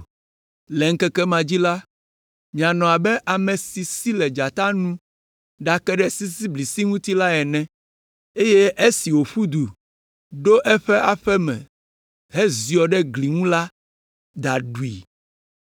Le ŋkeke ma dzi la, mianɔ abe ame si si le dzata nu ɖake ɖe sisiblisi ŋuti la ene, eye esi wòƒu du ɖo aƒe me heziɔ ɖe gli ŋuti la, da ɖui.